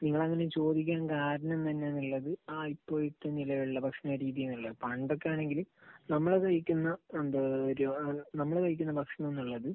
നിങ്ങളങ്ങനെ ചോദിക്കാൻ കാരണം തന്നെ എന്നുള്ളത് ആ ഇപ്പോഴത്തെ നിലവിലുള്ള ഭക്ഷണരീതി എന്നുള്ളത് പണ്ടൊക്കെയാണെങ്കില് നമ്മൾ കഴിക്കുന്ന എന്താ ഒരു നമ്മൾ കഴിക്കുന്ന ഭക്ഷണം എന്നുള്ളത്